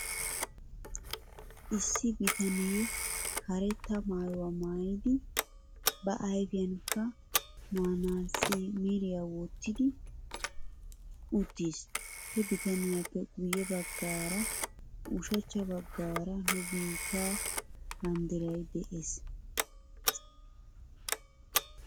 Issi bitanee karetta maayuwaa maayidi ba ayfiyankka manaatsitmriyaa wottidi uttis. He bitaniyaappe guyye bagaara ushachcha bagaara nu biittee banddiray de'es.